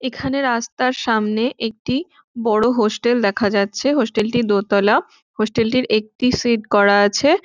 এখানে রাস্তার সামনে একটি বড় হোস্টেল দেখা যাচ্ছে হোস্টেলটি দোতালা হোস্টেলটির একটি শেড করা আছে।